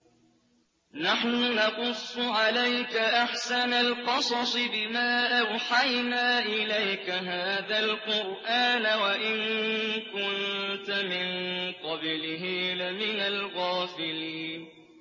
نَحْنُ نَقُصُّ عَلَيْكَ أَحْسَنَ الْقَصَصِ بِمَا أَوْحَيْنَا إِلَيْكَ هَٰذَا الْقُرْآنَ وَإِن كُنتَ مِن قَبْلِهِ لَمِنَ الْغَافِلِينَ